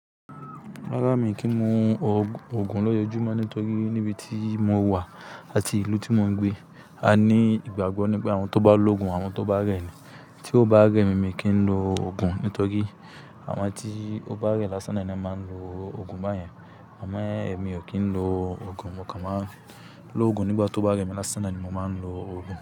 Rárá mi kì í mu òògùn lọ́jọ́ júmọ́ nítorí níbi tí mo wà àti ìlú tí mo ń gbé a ní ìgbàgbọ́ ní pé àwọn tó bá lo òògùn àwọn tó bá rẹ̀ ni. Tí ó bá rẹ̀ mi, mi kì í lo òògùn nítorí àwọn tí ó bá rẹ̀ lásán náà ni wọ́n máa ń lo òògùn báyẹn. Àmọ́ ẹ mi ò kí ń lo òògùn, mo kàn máa ń lo òògùn nígbà tó bá rẹ̀ mi lásán naani mo máa ń lo òògùn.